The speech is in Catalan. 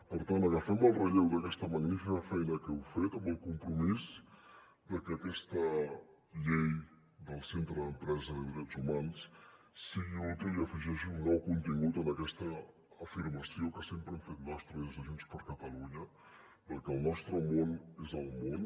per tant agafem el relleu d’aquesta magnífica feina que heu fet amb el compromís de que aquesta llei del centre d’empresa i de drets humans sigui útil i afegeixi un nou contingut en aquesta afirmació que sempre hem fet nostra des de junts per catalunya de que el nostre món és el món